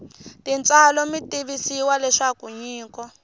tintswalo mi tivisiwa leswaku nyiko